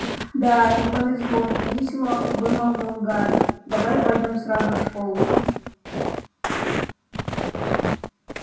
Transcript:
да не повезло невесело вымолвил гарри давай пойдём сразу в школу